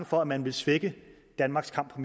for at man ville svække danmarks kamp for